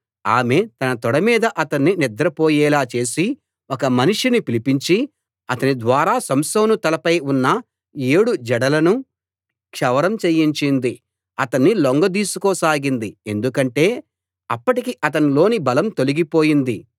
ఆమె తన తొడ మీద అతణ్ణి నిద్ర పోయేలా చేసి ఒక మనిషిని పిలిపించి అతని ద్వారా సంసోను తల పై ఉన్న ఏడు జడలనూ క్షౌరం చేయించింది అతణ్ణి లొంగదీసుకోసాగింది ఎందుకంటే అప్పటికి అతనిలోని బలం తొలగిపోయింది